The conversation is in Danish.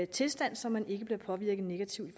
tilstand så man ikke bliver påvirket negativt i